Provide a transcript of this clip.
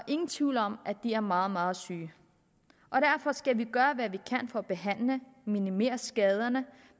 ingen tvivl om at de er meget meget syge og derfor skal vi gøre hvad vi kan for at behandle minimere skaderne